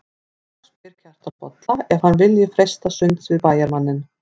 Þá spyr Kjartan Bolla ef hann vilji freista sunds við bæjarmanninn.